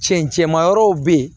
Cɛncɛnmayɔrɔw be yen